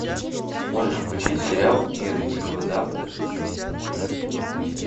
можешь включить сериал мир дикого запада шестой сезон тридцать девятая часть